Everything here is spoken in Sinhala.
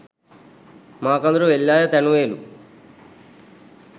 මාකදුර වෙල්යාය තැනුවේලු.